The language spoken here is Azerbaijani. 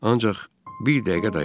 Ancaq bir dəqiqə dayan.